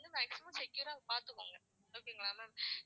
இல்ல maximum secure ஆ பாத்துப்பாங்க okay ங்களா ma'am